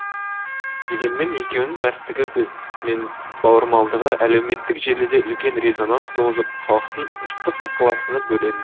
дегенмен екеуінің мәрттігі мен бауырмалдығы әлеуметтік желіде үлкен резонанс туғызып халықтың ыстық ықыласына бөлен